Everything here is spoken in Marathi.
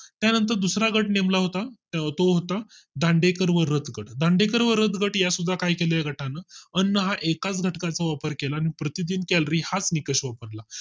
त्यानंतर दुसरा गट नेमला होता तो होता दांडेकर व रथ गट. दांडेकर व रथ गट यासुद्धा काय केले या गटाने अन्न हा एकाच घटका चा वापर केला आणि प्रतिदिन calorie हाच निकष वापरला